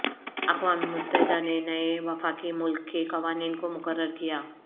اقوام متحدہ نے نئے وفاقی ملک کے قوانین کو مقرر کیا